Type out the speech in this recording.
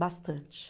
Bastante.